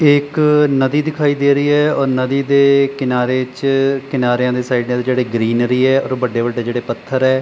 ਇੱਕ ਨਦੀ ਦਿਖਾਈ ਦੇ ਰਹੀ ਹੈ ਔਰ ਨਦੀ ਦੇ ਕਿਨਾਰੇ ਚ ਕਿਨਾਰਿਆਂ ਦੇ ਸਾਈਡਾਂ ਜਿਹੜੇ ਗਰੀਨਰੀ ਹ ਔਰ ਵੱਡੇ ਵੱਡੇ ਜਿਹੜੇ ਪੱਥਰ ਐ।